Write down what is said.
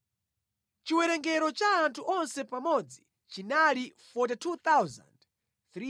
Chiwerengero cha anthu onse pamodzi chinali 42,360,